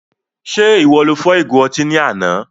Ṣe iwọ lo fọ́ ìgo ọtí ní àna?